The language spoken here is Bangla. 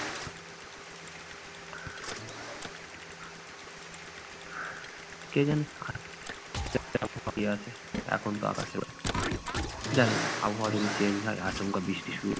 কে যেন হয়ে আছে এখন তো আকাশের জানিনা আবহওয়া যদি change হয় আচমকা বৃষ্টি শুরু